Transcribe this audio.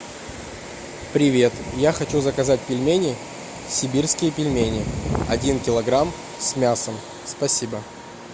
привет я хочу заказать пельмени сибирские пельмени один килограмм с мясом спасибо